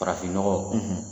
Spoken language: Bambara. Farafinnɔgɔ